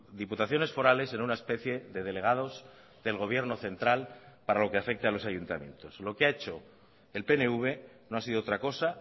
diputaciones forales en una especie de delegados del gobierno central para lo que afecte a los ayuntamientos lo que ha hecho el pnv no ha sido otra cosa